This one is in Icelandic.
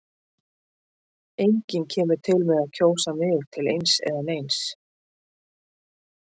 Enginn kemur til með að kjósa mig til eins eða neins.